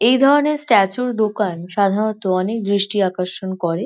এই ধরনের স্ট্যাচু র দোকান সাধারণত অনেক দৃষ্টি আকর্ষণ করে।